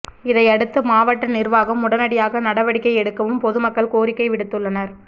இதையடுத்து மாவட்ட நிர்வாகம் உடனடியாக நடவடிக்கை எடுக்கவும் பொதுமக்கள் கோரிக்கை விடுத்துள்ளனர்